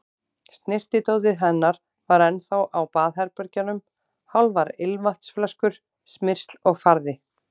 Snyrtidótið hennar var ennþá á baðherbergjunum, hálfar ilmvatnsflöskur, smyrsl og farði.